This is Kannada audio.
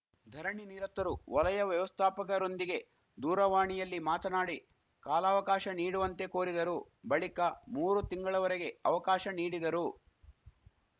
ಧರಣಿನಿರತರು ವಲಯ ವ್ಯವಸ್ಥಾಪಕರೊಂದಿಗೆ ದೂರವಾಣಿಯಲ್ಲಿ ಮಾತನಾಡಿ ಕಾಲವಕಾಶ ನೀಡುವಂತೆ ಕೋರಿದರು ಬಳಿಕ ಮೂರು ತಿಂಗಳವರೆಗೆ ಅವಕಾಶ ನೀಡಿದರು